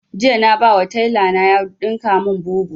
Jiya na ba wa taila na ya ɗinka mun bubu